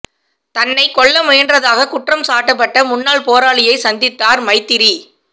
தன்னைக் கொல்ல முயன்றதாக குற்றம்சாட்டப்பட்ட முன்னாள் போராளியைச் சந்தித்தார் மைத்திரி